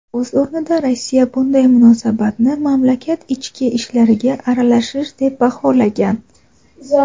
O‘z o‘rnida Rossiya bunday munosabatni mamlakat ichki ishlariga aralashish deb baholagan.